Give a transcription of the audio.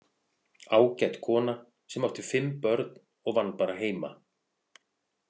Ágæt kona sem átti fimm börn og vann bara heima.